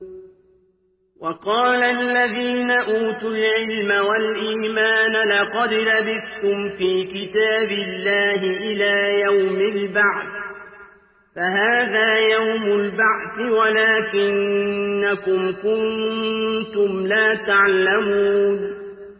وَقَالَ الَّذِينَ أُوتُوا الْعِلْمَ وَالْإِيمَانَ لَقَدْ لَبِثْتُمْ فِي كِتَابِ اللَّهِ إِلَىٰ يَوْمِ الْبَعْثِ ۖ فَهَٰذَا يَوْمُ الْبَعْثِ وَلَٰكِنَّكُمْ كُنتُمْ لَا تَعْلَمُونَ